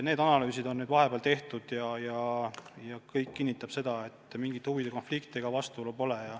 Need analüüsid on nüüd vahepeal tehtud ja kõik kinnitab seda, et mingit huvide konflikti ega vastuolu pole.